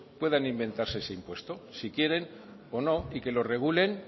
puedan inventarse ese impuesto si quieren o no y que lo regulen